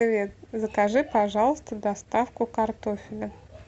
привет закажи пожалуйста доставку картофеля